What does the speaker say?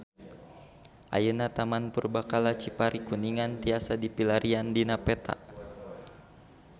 Ayeuna Taman Purbakala Cipari Kuningan tiasa dipilarian dina peta